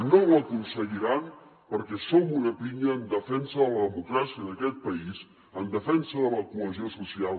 no ho aconseguiran perquè som una pinya en defensa de la democràcia d’aquest país en defensa de la cohesió social